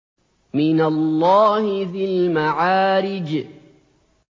مِّنَ اللَّهِ ذِي الْمَعَارِجِ